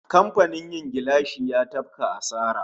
Kamfanin yin gilashi ya tafka asara